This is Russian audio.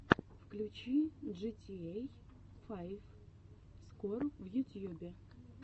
включи джитиэй файв скор в ютьюбе